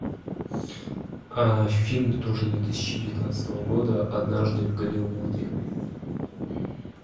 фильм тоже две тысячи девятнадцатого года однажды в голливуде